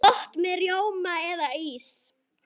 Gott með rjóma eða ís.